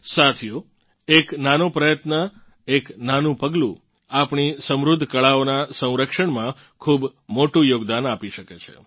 સાથીઓ એક નાનો પ્રયત્ન એક નાનું પગલું આપણી સમૃદ્ધ કળાઓનાં સંરક્ષણમાં ખૂબ મોટું યોગદાન આપી શકે છે